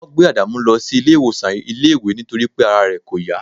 wọ́n gbé adamu lọ sí ilé ìwòsàn iléèwé nítorí pé ara rẹ̀ kò yá